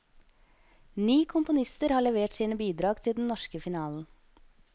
Ni komponister har levert sine bidrag til den norske finalen.